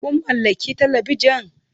Kun mallaki Talabijan?